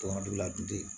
Tɔn dun la dun